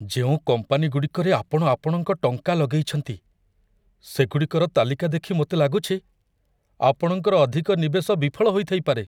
ଯେଉଁ କମ୍ପାନୀଗୁଡ଼ିକରେ ଆପଣ ଆପଣଙ୍କ ଟଙ୍କା ଲଗେଇଛନ୍ତି, ସେଗୁଡ଼ିକର ତାଲିକାଦେଖି ମୋତେ ଲାଗୁଛି, ଆପଣଙ୍କର ଅଧିକ ନିବେଶ ବିଫଳ ହୋଇଥାଇପାରେ।